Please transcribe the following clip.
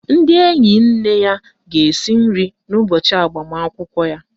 Ndị enyi nne ya ga-esi nri n' ụbọchị agbamakwụkwọ ya.